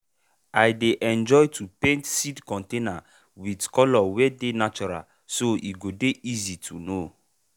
i dey enjoy to paint seed container with colour wey dey natural so e go dey easy to know.